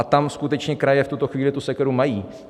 A tam skutečně kraje v tuto chvíli tu sekeru mají.